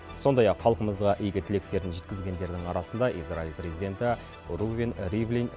сондай ақ халқымызға игі тілектерін жеткізгендердің арасында израиль президенті рувен ривлин